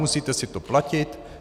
Musíte si to platit.